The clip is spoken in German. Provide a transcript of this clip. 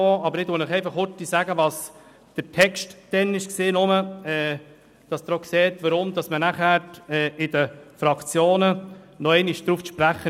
Damit Sie verstehen, weshalb man in den Fraktionen nochmals darauf zu sprechen kam, erläutere ich Ihnen kurz, wie der Text damals lautete.